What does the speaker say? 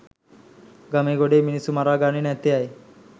ගමේ ගොඩේ මිනිස්සු මරාගන්නේ නැත්තේ ඇයි